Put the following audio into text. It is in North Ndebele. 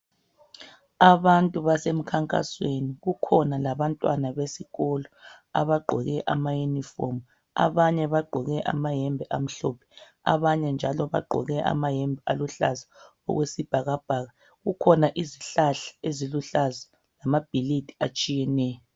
Abantu basemkhankasweni kukhona labantwana besikolo abagqoke ama uniform abanye bagqoke amayembe amhlophe abanye njalo bagqoke amayembe aluhlaza okwesibhakabhaka kukhona izihlahla eziluhlaza lamabhilidi atshiyeneyo.